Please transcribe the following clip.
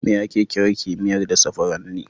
Me ake kira kimiyyar dasa furanni?